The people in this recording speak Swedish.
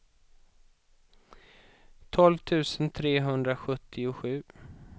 tolv tusen trehundrasjuttiosju